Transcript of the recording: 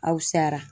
Aw sara